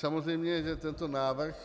Samozřejmě že tento návrh,